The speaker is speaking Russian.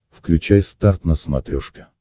включай старт на смотрешке